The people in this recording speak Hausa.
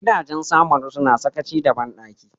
Gidajen Samaru suna sakaci da bandaki.